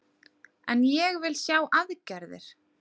En ég vil sjá aðgerðir